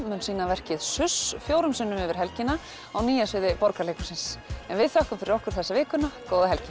mun sýna verkið suss fjórum sinnum yfir helgina á Nýja sviði Borgarleikhússins en við þökkum fyrir okkur þessa vikuna góða helgi